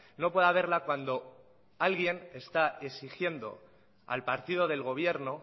no puede haberla cuando alguien está exigiendo al partido del gobierno